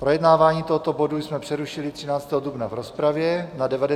Projednávání tohoto bodu jsme přerušili 13. dubna v rozpravě na 98. schůzi.